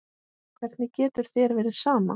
Hvernig getur þér verið sama?